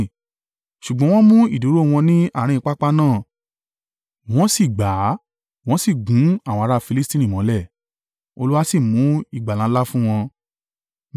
Ṣùgbọ́n wọ́n mú ìdúró wọn ní àárín pápá náà. Wọ́n sì gbà a wọ́n sì gún àwọn ará Filistini mọ́lẹ̀, Olúwa sì mú ìgbàlà ńlá fún wọn.